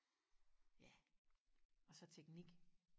ja og så teknink